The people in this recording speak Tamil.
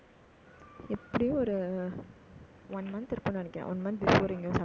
எப்படியும் ஒரு ஆஹ் one month இருக்கும்னு நினைக்கிறேன். one month before இங்க சாப்பிட்டு இருக்கேன்